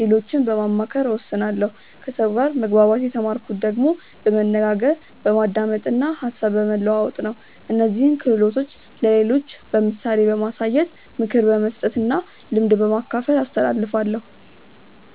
ሌሎችን በማማከር እወስናለሁ ከሰው ጋር መግባባት የተማርኩት ደግሞ በመነጋገር፣ በማዳመጥ እና ሀሳብ በመለዋወጥ ነው። እነዚህን ክህሎቶች ለሌሎች በምሳሌ በማሳየት፣ ምክር በመስጠት እና ልምድ በማካፈል አስተላልፋለሁ።